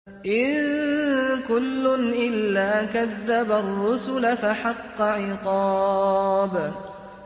إِن كُلٌّ إِلَّا كَذَّبَ الرُّسُلَ فَحَقَّ عِقَابِ